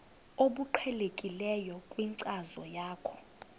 obuqhelekileyo kwinkcazo yakho